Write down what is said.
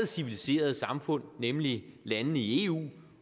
civiliserede samfund nemlig landene i eu